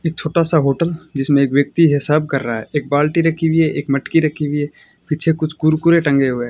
एक छोटा सा होटल जिसमें एक व्यक्ति हिसाब कर रहा है एक बाल्टी रखी हुई है एक मटकी रखी हुई है पीछे कुछ कुरकुरे टंगे हुए हैं।